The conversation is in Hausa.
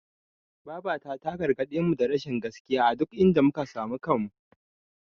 Babata ta gargaɗemu da rashin gaskiya a duk inda muka samu kanmu.